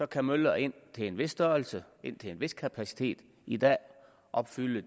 kan møller indtil en vis størrelse og indtil en vis kapacitet i dag opfylde